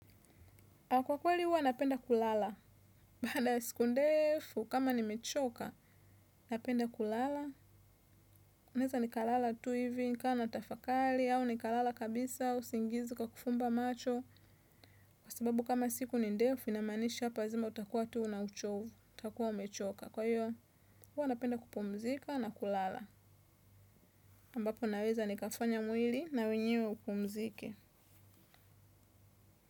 Kwa kweli huwa napenda kulala. Baada ya siku ndefu, kama nimechoka, napenda kulala. Naeza nikalala tu hivi, nikawa natafakali, au nikalala kabisa, usingizi ukakufumba macho. Kwa sababu kama siku ni ndefu, inamaanisha hapa lazima utakuwa tu na uchovu. Utakuwa umechoka. Kwa hiyo, huwa napenda kupumzika na kulala. Ambapo naweza nikafanya mwili na wenyewe upumzike.